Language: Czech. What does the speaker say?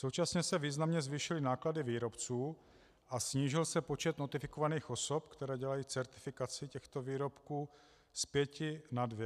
Současně se významně zvýšily náklady výrobců a snížil se počet notifikovaných osob, které dělají certifikaci těchto výrobků z pěti na dvě.